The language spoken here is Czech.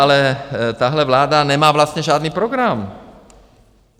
Ale tahle vláda nemá vlastně žádný program.